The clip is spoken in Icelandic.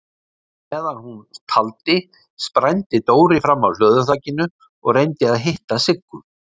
Á meðan hún taldi sprændi Dóri fram af hlöðuþakinu og reyndi að hitta Siggu.